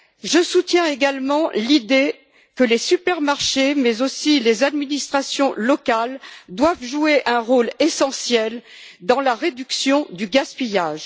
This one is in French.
Je soutiens également l'idée selon laquelle les supermarchés, mais aussi les administrations locales, doivent jouer un rôle essentiel dans la réduction du gaspillage.